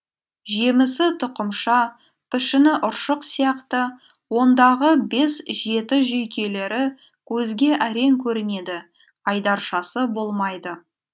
жемісі тұқымша пішіні ұршық сияқты ондағы бес жеті жүйкелері көзге әрең көрінеді айдаршасы болмайды